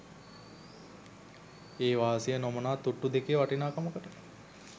ඒ වාසිය නොමනාතුට්ටු දෙකෙ වටිනාකමකට